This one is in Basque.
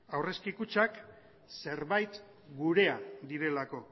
aurrezki kutxak zerbait gurea direlako